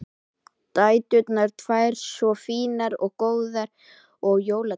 Dæturnar tvær svo fínar og góðar og jólatréð!